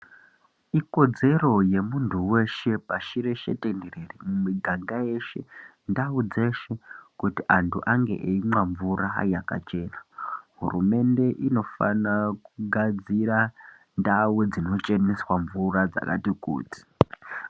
Ikodzero remuntu weshe pashi reshe tenderere mumiganga yeshe ndau dzeshe kuti antu ange eimwa mvura yakachena hurumende inofana kugadzira ndau dzinocheneswa mvura dzakati kuti.